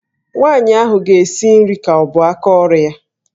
Nwaanyị ahụ ga-esi nri ka ọ bụ aka ọrụ ya.